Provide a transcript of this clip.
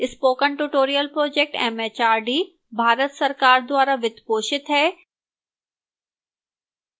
spoken tutorial project mhrd Bharat सरकार द्वारा वित्त पोषित है